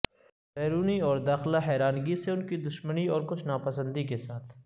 بیرونی اور داخلہ حیرانگی سے ان کی دشمنی اور کچھ ناپسندی کے ساتھ